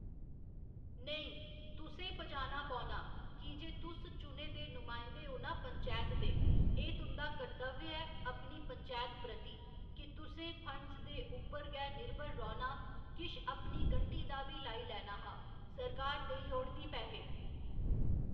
नेईं तुसें पजाना पौना की जे तुस चुने दे नुमाइंदे ओ ना पंचैत दे एह् तुं'दा कर्तव्य ऐ अपनी पंचैत प्रति कि तुसें फंड्स दे उप्पर गै निर्भर रौह्‌ना किश अपनी गंढी दा बी लाई लैना हा सरकार देई औड़दी पैहे